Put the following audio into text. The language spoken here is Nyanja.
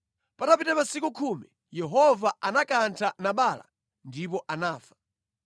Patapita masiku khumi, Yehova anakantha Nabala ndipo anafa.